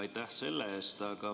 Aitäh selle eest!